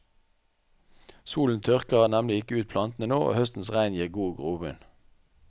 Solen tørker nemlig ikke ut plantene nå, og høstens regn gir god grobunn.